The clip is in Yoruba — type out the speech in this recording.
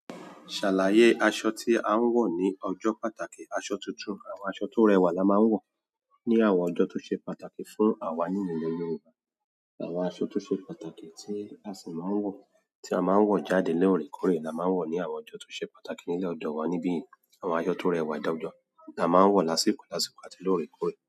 Ṣàlàyé aṣọ tí a ń wọ̀ ní ọjọ́ pàtàkì, aṣọ tuntun àwọn aṣọ tó rẹwà la máa ń wọ̀ ní àwọn ọjọ́ tó ṣe pàtàkì fún àwa nínú ilẹ̀ Yorùbá. Àwọn aṣọ tó ṣe pàtàkì tí a sì máa ń wọ̀, tí a máa ń wọ̀ jáde lóore kóre la máa ń wọ̀ ní àwọn ọjọ́ tó ṣe pàtàkì nílẹ̀ ọdọ́ wa nibi yìí. Àwọn aṣọ tó rẹwà jojọ́ la máa ń wọ̀ lásìkò lásìkò àti lóorekoóre.